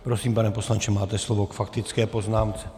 Prosím, pane poslanče, máte slovo k faktické poznámce.